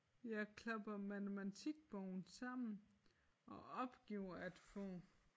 Jeg klapper matematikbogen sammen og opgiver at få